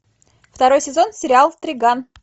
второй сезон сериал триган